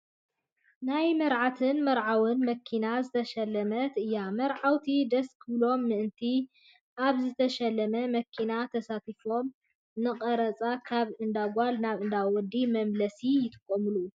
ናይ መርዓትን መርዓውን መኪና ዝተሸላለመት እያ። መርዓውቲ ደስ ክብሎም ምእንቲ ኣብ ዝተሸለመት መኪና ተሳፊሮም ንቀረፃን ካብ እንዳ ጓል ናብ እንዳ ወዲ መመላለሲ ይጥቀሙላ።